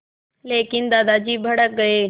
लेकिन दादाजी भड़क गए